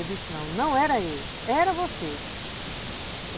Eu disse, não, não era eu, era você.